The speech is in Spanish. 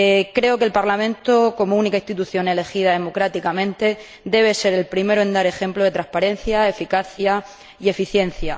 Creo que el Parlamento como única institución elegida democráticamente debe ser el primero en dar ejemplo de transparencia, eficacia y eficiencia.